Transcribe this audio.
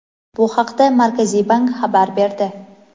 Bu haqda markaziy bank xabar berdi.